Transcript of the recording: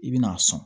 I bɛna a sɔn